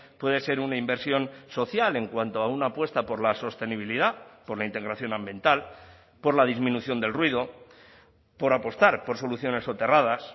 puede ser una inversión social en cuanto a una apuesta por la sostenibilidad por la integración ambiental por la disminución del ruido por apostar por soluciones soterradas